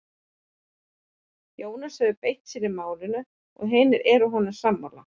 Jónas hefur mjög beitt sér í málinu og hinir eru honum sammála.